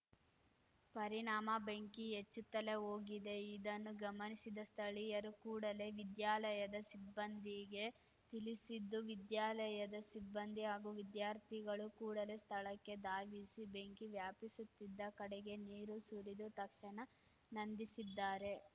ಪರಿಣಾಮ ಬೆಂಕಿ ಹೆಚ್ಚುತ್ತಲೇ ಹೋಗಿದೆ ಇದನ್ನು ಗಮನಿಸಿದ ಸ್ಥಳೀಯರು ಕೂಡಲೇ ವಿದ್ಯಾಲಯದ ಸಿಬ್ಬಂದಿಗೆ ತಿಳಿಸಿದ್ದು ವಿದ್ಯಾಲಯದ ಸಿಬ್ಬಂದಿ ಹಾಗೂ ವಿದ್ಯಾರ್ಥಿಗಳು ಕೂಡಲೇ ಸ್ಥಳಕ್ಕೆ ಧಾವಿಸಿ ಬೆಂಕಿ ವ್ಯಾಪಿಸುತ್ತಿದ್ದ ಕಡೆಗೆ ನೀರು ಸುರಿದು ತಕ್ಷಣ ನಂದಿಸಿದ್ದಾರೆ